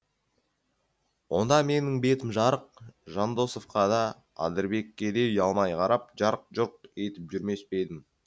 онда менің бетім жарық жандосовқа да адырбекке де ұялмай қарап жарқ жұрқ етіп жүрмес пе едім